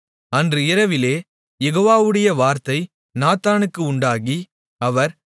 அன்று இரவிலே யெகோவாவுடைய வார்த்தை நாத்தானுக்கு உண்டாகி அவர்